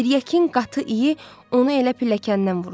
Tiryakinin qatı iyi onu elə pilləkəndən vurdu.